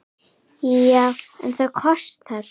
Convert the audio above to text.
Já, en það kostar!